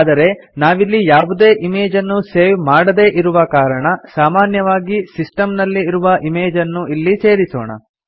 ಆದರೆ ನಾವಿಲ್ಲಿ ಯಾವುದೇ ಇಮೇಜನ್ನು ಸೇವ್ ಮಾಡದೇ ಇರುವ ಕಾರಣ ಸಾಮಾನ್ಯವಾಗಿ ಸಿಸ್ಟಮ್ ನಲ್ಲಿ ಇರುವ ಇಮೇಜನ್ನು ಇಲ್ಲಿ ಸೇರಿಸೋಣ